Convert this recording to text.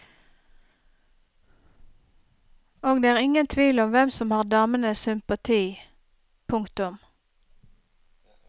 Og det er ingen tvil om hvem som har damens sympati. punktum